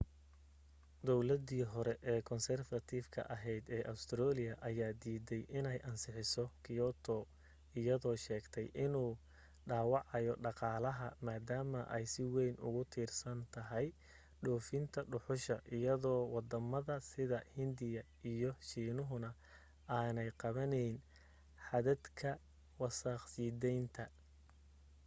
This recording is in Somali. dawladii hore konsarfatifka ahayd ee ustareeliya ayaa diiday inay ansixiso kyoto iyadoo sheegtay inuu dhaawacayo dhaqaalaha maadaama ay si wayn ugu tiirsan tahay dhoofinta dhuxusha iyadoo waddamada sida hindiya iyo shiinuhana aanay qabanayn xadadka wasakh sii daynta